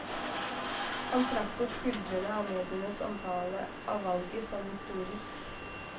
Han trakk på skuldrene av medienes omtale av valget som historisk.